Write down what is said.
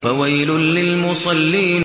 فَوَيْلٌ لِّلْمُصَلِّينَ